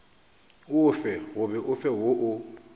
ofe goba ofe woo o